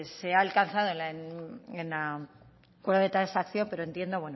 se ha alcanzado en el acuerdo de transacción pero entiendo